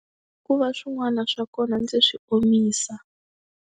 Ku va swin'wana swa kona ndzi swi omisa.